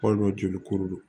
Hali n'o jolikuru